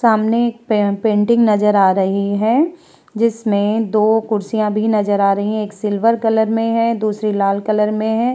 सामने एक पे पैंटिंग हैं जिसमे दो कुर्सियां भी नज़र आ रही हैं एक सिल्वर कलर में हैं दूसरी लाल कलर मे है।